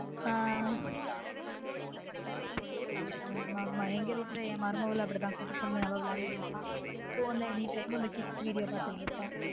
ஆஹ் ஆமா ஆமா எங்க வீட்ல என் மருமகளும் அப்டி தான் குட்டி பொன்னு அவ வெளான்டுட்டு இருப்பா phone ல anytime kidsvideo பார்த்துட்டு இருப்பா